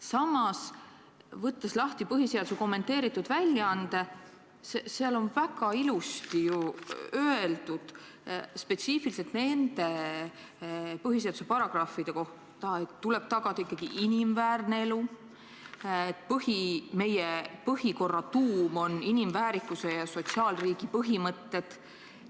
Samas, võttes lahti põhiseaduse kommenteeritud väljaande, on seal väga ilusti ju öeldud just nende põhiseaduse paragrahvide kohta, et tuleb tagada ikkagi inimväärne elu, meie põhikorra tuum on inimväärikuse ja sotsiaalriigi põhimõtted.